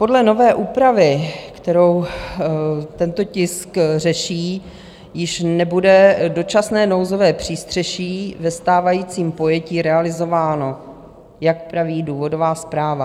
Podle nové úpravy, kterou tento tisk řeší, již nebude dočasné nouzové přístřeší ve stávajícím pojetí realizováno, jak praví důvodová zpráva.